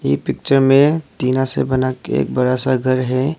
ये पिक्चर में टीना से बना के एक बड़ा सा घर है।